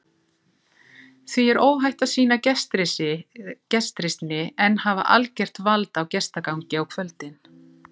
Því er óhætt að sýna gestrisni en hafa algert vald á gestagangi á kvöldin.